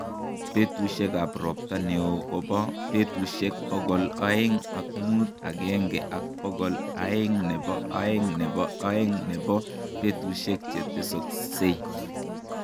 Peetuusyegap ropta ne oo ko po peetuusyek pogol aeng' ak muut agenge ak pogol aeng' ne po aeng' ne po aeng', ne po peetuusyek che tesoksei.